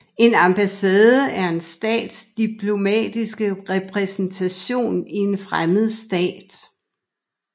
En ambassade er en stats diplomatiske repræsentation i en fremmed stat